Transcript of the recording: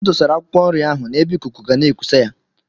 M dosara akwụkwọ nri ahụ n’ebe ikuku ga na-ekusa ya